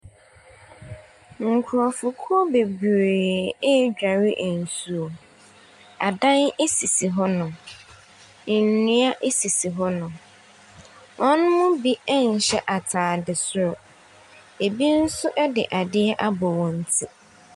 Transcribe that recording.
Nkurɔfokuo bebree ɛredware nsuo, adan sisi hɔnom, nnua sisi hɔnom. Wɔn mu bi nhyɛ ataade soro, bi nso de ade abɔ wɔn ti.